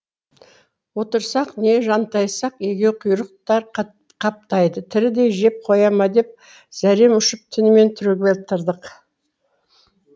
отырсақ не жантайсақ егеуқұйрықтар қаптайды тірідей жеп қоя ма деп зәрем ұшып түнімен түрегеп тұрдық